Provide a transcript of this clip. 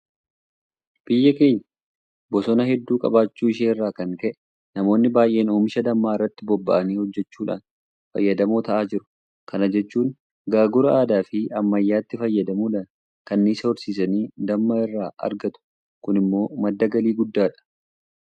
Biyyi keenya bosona hedduu qabaachuu ishee irraa kan ka'e namoonni baay'een oomisha dammaa irratti bobba'anii hojjechuudhaan fayyadamoo ta'aa jiru. Kana jechuun Gaagura aadaafi ammayyaatti fayyadamuudhaan kanniisa horsiisanii damma irraa argatu. Kun immoo madda galii guddaadha.